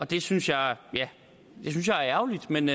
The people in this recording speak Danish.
det synes jeg er ærgerligt men